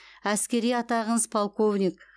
әскери атағыңыз полковник